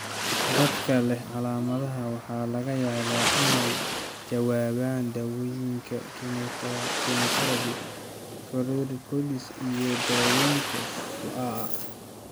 Dadka leh calaamadaha waxaa laga yaabaa inay ka jawaabaan daawooyinka kemotherabi, corticosteroids, iyo daaweynta shucaaca.